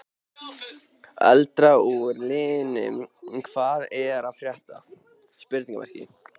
Eldra úr liðnum Hvað er að frétta?